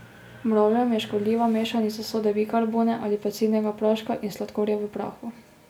Mravljam je škodljiva mešanica sode bikarbone ali pecilnega praška in sladkorja v prahu.